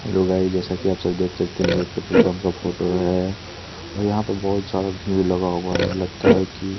लुगाई जैसा की आप देख सकते है ये एक पेट्रोल पम्प का फोटो है और यहाँ पे बहोत सारे भीग लगा हुआ है लगता है की --